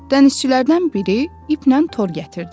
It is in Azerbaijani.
Dənizçilərdən biri iplə tor gətirdi.